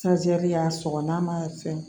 y'a sɔgɔ n'a ma fɛn